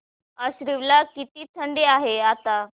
आश्वी ला किती थंडी आहे आता